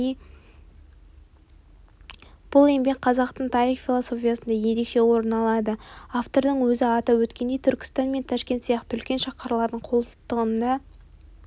бұл еңбек қазақтың тарих философиясында ерекше орын алады автордың өзі атап өткендей түркістан мен ташкент сияқты үлкен шаһарлардың қолтығында